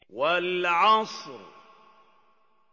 وَالْعَصْرِ